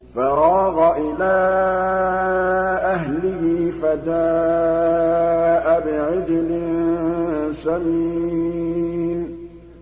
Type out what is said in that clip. فَرَاغَ إِلَىٰ أَهْلِهِ فَجَاءَ بِعِجْلٍ سَمِينٍ